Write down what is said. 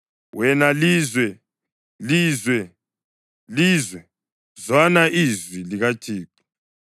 Wena lizwe, lizwe, lizwe, zwana ilizwi likaThixo!